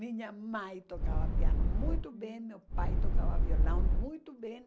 Minha mãe tocava piano muito bem, meu pai tocava violão muito bem.